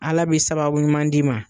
Ala be sababu ɲuman d'i ma